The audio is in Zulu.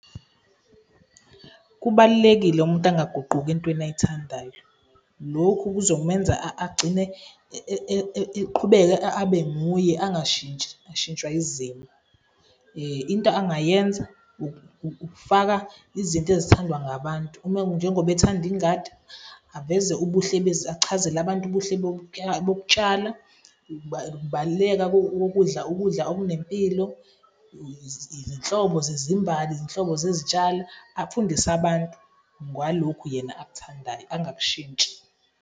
Kubalulekile umuntu angaguquki entweni ay'thandayo. Lokhu kuzomenza agcine eqhubeka abe nguye, angashintshi, ashintshwa izimo. Into angayenza ukufaka izinto ezithandwa ngabantu njengoba ethanda ingadi, achazele abantu ubuhle bokutshala, ukubaluleka kokudla ukudla okunempilo, izinhlobo zezimbali, izinhlobo zezitshalo, afundise abantu ngalokhu yena akuthandayo, angakushintshi.